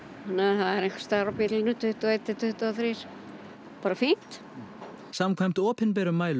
er einhvers staðar á bilunu tuttugu og eitt til tuttugu og þrjú bara fínt samkvæmt opinberum mælum